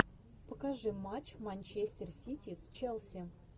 покажи матч манчестер сити с челси